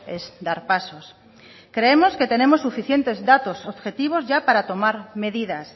es dar pasos creemos que tenemos suficientes datos objetivos ya para tomar medidas